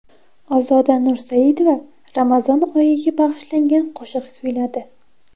Ozoda Nursaidova Ramazon oyiga bag‘ishlangan qo‘shiq kuyladi.